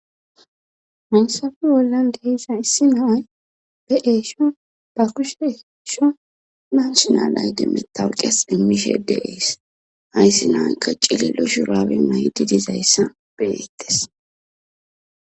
Hansafe wollan dehis aayssi nay be eesho ba kushe eesho nan shinalay demmetawqias immishedeiis hayssi naykka cililo shuraabe maydi dizayssa benettes.'